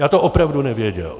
Já to opravdu nevěděl.